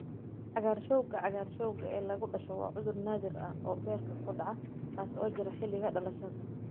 Cagaarshowga cagaarshowga ee lagu dhasho waa cudur naadir ah oo beerka ku dhaca kaas oo jira xilliga dhalashada.